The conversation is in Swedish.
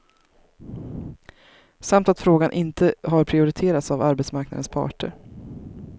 Samt att frågan inte har prioriterats av arbetsmarknadens parter.